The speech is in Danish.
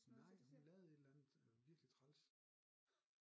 Nej hun lavede et eller andet virkelig træls